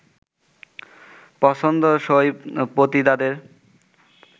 পছন্দসই পতিতাদের